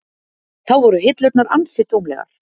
Þá voru hillurnar ansi tómlegar.